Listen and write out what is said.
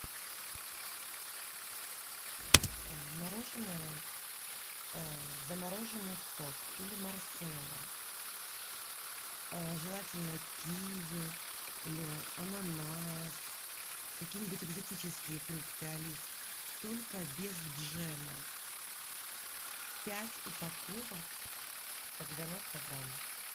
мороженое замороженный сок или марселла желательно киви или ананас какие нибудь экзотические фрукты алис только без джема пять упаковок по девяносто грамм